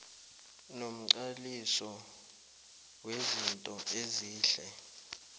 nomqaliso wezinto ezihle